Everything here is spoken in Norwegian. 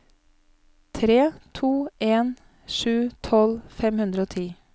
tre to en sju tolv fem hundre og ti